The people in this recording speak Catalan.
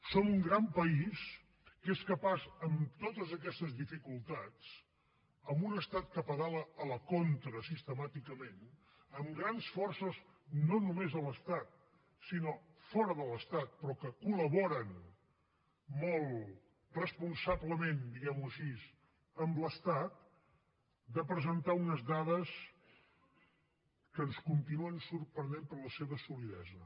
som un gran país que és capaç amb totes aquestes dificultats amb un estat que pedala a la contra sistemàticament amb grans forces no només a l’estat sinó fora de l’estat però que col·laboren molt responsablement diguem ho així amb l’estat de presentar unes dades que ens continuen sorprenent per la seva solidesa